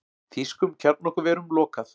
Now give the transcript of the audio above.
Þýskum kjarnorkuverum lokað